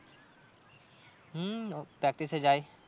হম practice এ যাই।